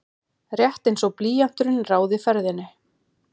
Rétt einsog blýanturinn ráði ferðinni.